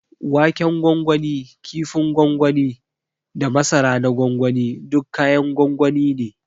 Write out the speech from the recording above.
Waken gwangwani, ƙifin gwangwani da masara na gwangwani duk kayan gwangwani ne.